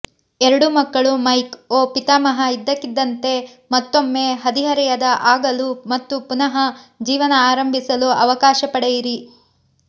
ಎರಡು ಮಕ್ಕಳು ಮೈಕ್ ಓ ಪಿತಾಮಹ ಇದ್ದಕ್ಕಿದ್ದಂತೆ ಮತ್ತೊಮ್ಮೆ ಹದಿಹರೆಯದ ಆಗಲು ಮತ್ತು ಪುನಃ ಜೀವನ ಆರಂಭಿಸಲು ಅವಕಾಶ ಪಡೆಯಿರಿ